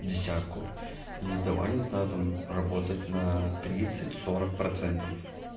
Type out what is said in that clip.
десятку и давай не знаю там работать на тридцать сорок процентов